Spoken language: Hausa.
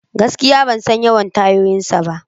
Gaskiya! Ban san yawan tayoyinsa ba.